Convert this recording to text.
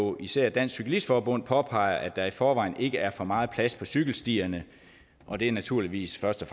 og især dansk cyklist forbund påpeger at der i forvejen ikke er for meget plads på cykelstierne og det er naturligvis først og